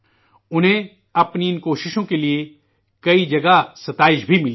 انہیں ان کوششوں کے کے لیے کئی جگہ ان کی ستائش بھی ہوئی ہے